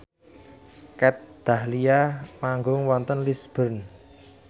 Kat Dahlia manggung wonten Lisburn